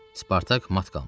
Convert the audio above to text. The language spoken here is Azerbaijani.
Spartak mat qalmışdı.